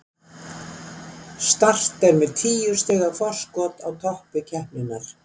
Start er með níu stiga forskot á toppi deildarinnar.